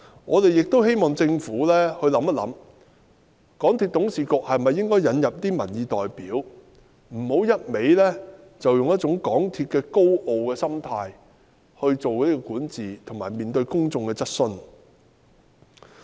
我們亦希望政府考慮，港鐵公司董事局是否應該引入民意代表，不要讓港鐵公司再以一種高傲的心態來作出管治及面對公眾的質詢。